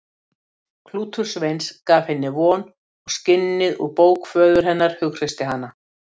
Klútur Sveins gaf henni von og skinnið úr bók föður hennar hughreysti hana.